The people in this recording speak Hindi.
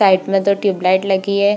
ट्यूबलाइट लगी हे।